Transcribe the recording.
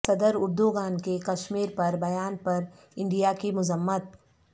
صدر اردوغان کے کشمیر پر بیان پر انڈیا کی مذمت